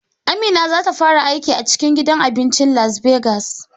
Amina zata fara aiki a gidan cikin abincin Las Begas